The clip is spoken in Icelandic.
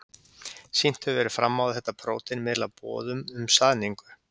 Sýnt hefur verið fram á að þetta prótein miðlar boðum um saðningu.